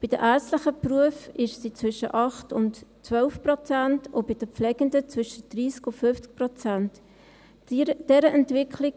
Bei den ärztlichen Berufen liegt sie zwischen 8 und 12 Prozent und bei den Pflegenden zwischen 30 und 50 Prozent.